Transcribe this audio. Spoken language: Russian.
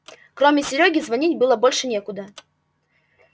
кроме серёги звонить было больше некуда